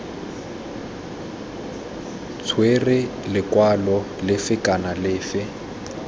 tshwera lekwalo lefe kana lefe